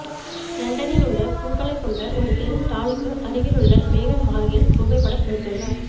லண்டனில் உள்ள பூக்களைக் கொண்ட ஒரு தெரு ஸ்டாலுக்கு அருகில் உள்ள மேகன் மார்கெல் புகைப்படம் எடுத்துள்ளார்